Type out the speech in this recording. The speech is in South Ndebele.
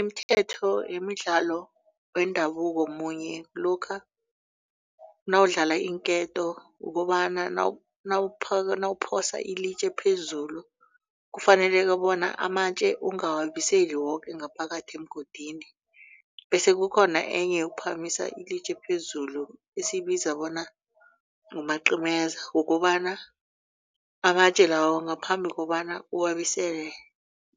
Imithetho yemidlalo wendabuko munye lokha nawudlala iinketo ukobana nawuphosa ilitje phezulu kufaneleke bona amatje ungawabiseli woke ngaphakathi emgodini. Bese kukhona enye yokuphakamisa ilitje phezulu esiyibiza bona ngumacimeza kukobana amatje lawo ngaphambi kobana uwabuyisele